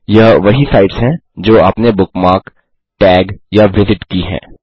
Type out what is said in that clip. यह वही साइट्स हैं जो आपने बुकमार्क टैग या विजिट की हैं